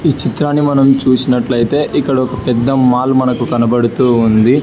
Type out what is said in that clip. విచిత్రాన్ని మనం చూసినట్లయితే ఇది ఒక పెద్ద మాల్ కనపడుతుంది.